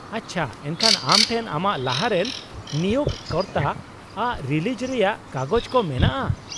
ᱟᱪᱪᱷᱟ, ᱮᱱᱠᱷᱟᱱ ᱟᱢ ᱴᱷᱮᱱ ᱟᱢᱟᱜ ᱞᱟᱦᱟ ᱨᱮᱱ ᱱᱤᱭᱳᱜᱽ ᱠᱚᱨᱛᱟ ᱟᱜ ᱨᱤᱞᱤᱡᱽ ᱨᱮᱭᱟᱜ ᱠᱟᱜᱚᱡᱽ ᱠᱚ ᱢᱮᱱᱟᱜᱼᱟ ?